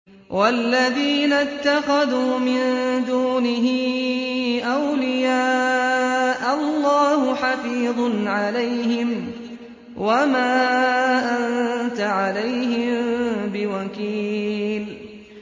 وَالَّذِينَ اتَّخَذُوا مِن دُونِهِ أَوْلِيَاءَ اللَّهُ حَفِيظٌ عَلَيْهِمْ وَمَا أَنتَ عَلَيْهِم بِوَكِيلٍ